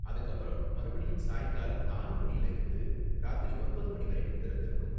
அதுக்கப்பறம், மறுபடியும் சாயங்காலம் நாலு மணில இருந்து ராத்திரி ஒன்பது மணி வரைக்கும் திறந்திருக்கும்.